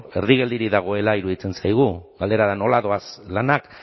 erdi geldirik dagoela iruditzen zaigu galdera da nola doaz lanak